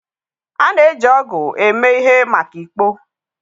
A na-eji ọgụ eme ihe maka ikpo.